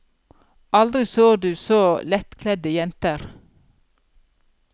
Aldri så du så lettkledde jenter.